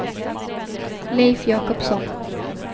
Leif Jakobsson